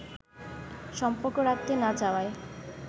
সম্পর্ক রাখতে না চাওয়ায়